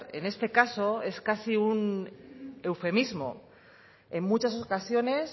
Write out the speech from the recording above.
en este caso es casi un eufemismo en muchas ocasiones